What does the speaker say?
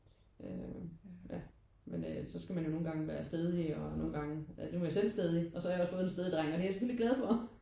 Øh ja men øh så skal man jo nogen gange være stædig og nogen gange nu er jeg selv stædig og så har fået en stædig dreng og det er jeg selvfølgelig glad for